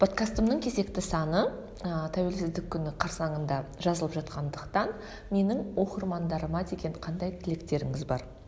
подкастымның кезекті саны ы тәуелсіздік күні қарсаңында жазылып жатқандықтан менің оқырмандарыма деген қандай тілектеріңіз бар